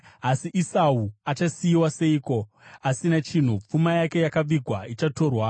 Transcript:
Asi Esau achasiyiwa seiko asina chinhu, pfuma yake yakavigwa ichatorwa!